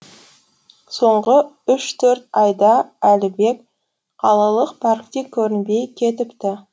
соңғы үш төрт айда әлібек қалалық паркте көрінбей кетіпті